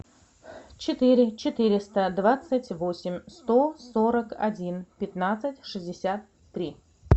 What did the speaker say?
четыре четыреста двадцать восемь сто сорок один пятнадцать шестьдесят три